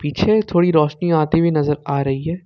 छे थोड़ी रोशनी आई हुई नजर आ रही है।